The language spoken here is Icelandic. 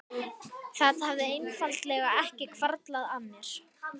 Það hafði einfaldlega ekki hvarflað að mér.